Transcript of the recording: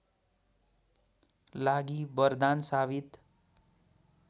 लागि वरदान साबित